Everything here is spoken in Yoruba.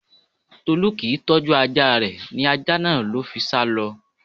Tolú kì ń tọ́jú ajá rè, ní ajá náà ló fi sá lọ.